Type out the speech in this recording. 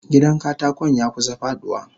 Gidan katakon yakusa faduwa.